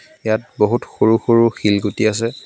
ইয়াত বহুত সৰু সৰু শিলগুটি আছে.